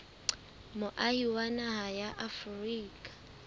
moahi wa naha ya afrika